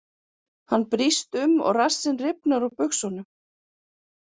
Hann brýst um og rassinn rifnar úr buxunum.